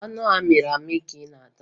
Ọ bụ anụ ahụ amịrị amị ka ị na-ata?